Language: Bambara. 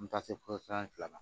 An bɛ taa se filanan ma